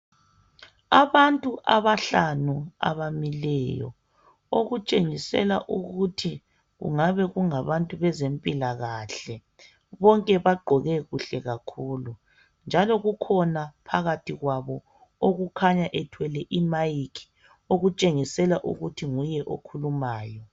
Abantu abahlanu abamileyo , okutshengisela ukuthi kungabe kungabantu bezempilakahle. Bonke bagqoke kuhle kakhulu njalo kukhona phakathi kwabo okukhanya ethwele imayikhi okutshengisela ukuthi nguye okhulumayo.